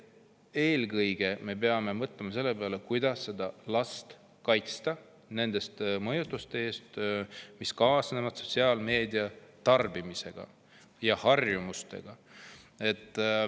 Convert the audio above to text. Eelkõige me peame mõtlema selle peale, kuidas kaitsta last nende mõjutuste eest, mis kaasnevad sotsiaalmeedia tarbimisega ja selle harjumusega.